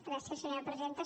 gràcies senyora presidenta